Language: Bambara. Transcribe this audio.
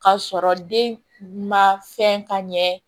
K'a sɔrɔ den ma fɛn ka ɲɛ